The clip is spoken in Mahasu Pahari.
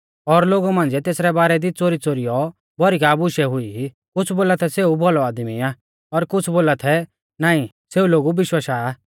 और लोगु मांझ़िऐ तेसरै बारै दी च़ोरीच़ोरीऔ भौरी का बुशै हुई कुछ़ बोला थै सेऊ भौलौ आदमी आ और कुछ़ बोला थै नाईं सेऊ लोगु बिशवाशा आ